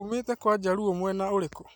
Uumĩĩte kwa njaruo mwena ũrĩkũ?